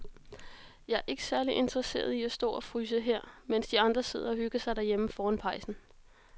Jeg er ikke særlig interesseret i at stå og fryse her, mens de andre sidder og hygger sig derhjemme foran pejsen.